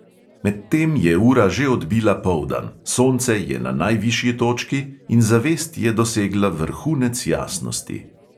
Medtem je ura že odbila poldan, sonce je na najvišji točki in zavest je dosegla vrhunec jasnosti.